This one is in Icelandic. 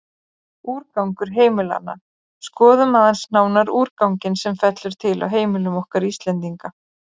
Úrgangur heimilanna Skoðum aðeins nánar úrganginn sem fellur til á heimilum okkar Íslendinga.